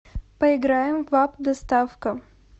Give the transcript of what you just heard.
поиграем в апп доставка